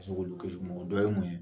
ka se k'olu kisi mun ma o dɔ ye mun ye